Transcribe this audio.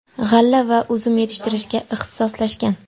g‘alla va uzum yetishtirishga ixtisoslashgan.